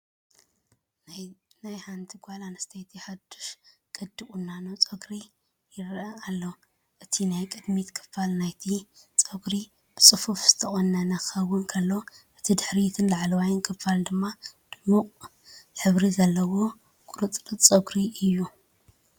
ናይ ሓንቲ ጓል ኣንስተይቲ ሓዱሽ ቅዲ ቁኖ ጸጉሪ ርእሲ ይረአ ኣሎ። እቲ ናይ ቅድሚት ክፋል ናይቲ ጸጉሪ ብጽፉፍ ዝተቆነነ ክኸውን ከሎ፡ እቲ ድሕሪትን ላዕለዋይ ክፋልን ድማ ድሙቕ ሕብሪ ዘለዎ ቁርጽራጽ ጸጉሪ እዩ።